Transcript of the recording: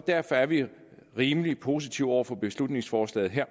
derfor er vi rimelig positive over for beslutningsforslaget her